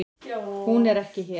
Hún er ekki hér.